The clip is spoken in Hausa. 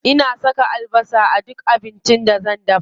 Ina saka albasa a duk abincin da zan dafa.